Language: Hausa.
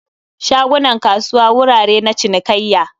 shagunan kasuwa wurare na cinikayya